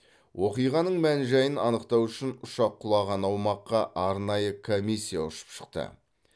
оқиғаның мән жайын анықтау үшін ұшақ құлаған аумаққа арнайы комиссия ұшып шықты